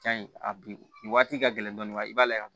Jan in a bi nin waati ka gɛlɛn dɔɔnin i b'a lajɛ